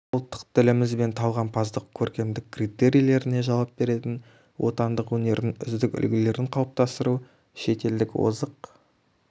ұлттық діліміз бен талғампаздық көркемдік критерийлеріне жауап беретін отандық өнердің үздік үлгілерін қалыптастыру шетелдік озық